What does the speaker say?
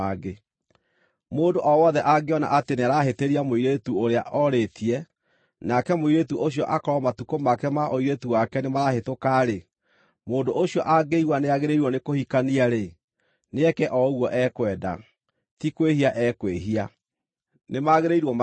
Mũndũ o wothe angĩona atĩ nĩarahĩtĩria mũirĩtu ũrĩa orĩtie, nake mũirĩtu ũcio akorwo matukũ make ma ũirĩtu wake nĩmarahĩtũka-rĩ, mũndũ ũcio angĩigua nĩagĩrĩirwo nĩ kũhikania-rĩ, nĩeke o ũguo ekwenda. Ti kwĩhia ekwĩhia. Nĩmagĩrĩirwo mahikanie.